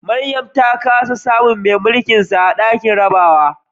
Mariam ta kasa samun mai mulkinsa a dakin jarabawa